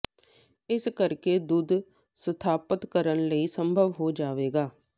ਇਸ ਕਰਕੇ ਦੁੱਧ ਸਥਾਪਤ ਕਰਨ ਲਈ ਸੰਭਵ ਹੋ ਜਾਵੇਗਾ